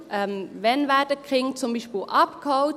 Wann werden die Kinder zum Beispiel abgeholt?